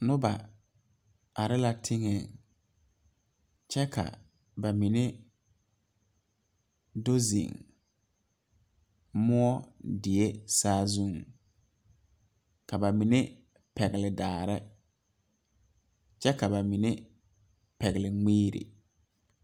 Noba are la teŋa kyɛ ka ba mine do zeŋ moɔ bie saazu ka ba mine pegle daare kyɛ ka ba mine pegle mire.